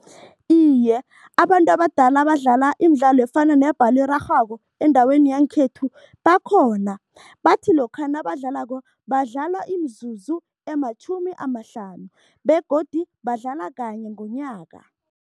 Iye, abantu abadala abadlala imidlalo efana nebholo erarhwako endaweni yangekhethu bakhona. Bathi lokha nabadlalako, badlala imizuzu ematjhumi amahlanu begodu badlala kanye ngonyaka.